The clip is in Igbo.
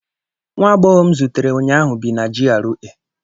Nwa agbọghọ m zutere ụnyaahụ bi na GRA